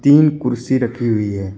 तीन कुर्सी रखी हुई है।